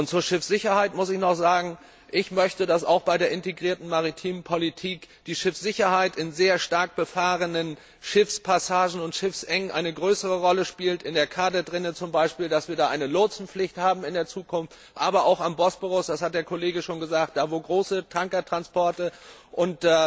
Zur Schiffssicherheit muss ich noch sagen Ich möchte, dass auch bei der integrierten maritimen Politik die Schiffssicherheit in sehr stark befahrenen Schiffspassagen und Schiffsengen eine größere Rolle spielt, in der Kadetrinne zum Beispiel, dass es hier in Zukunft eine Lotsenpflicht gibt, aber auch am Bosporus das hat der Kollege schon gesagt da, wo es große Tankertransporte gibt und